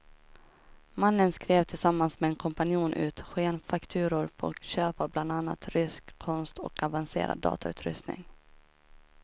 Mannen skrev tillsammans med en kompanjon ut skenfakturor på köp av bland annat rysk konst och avancerad datautrustning.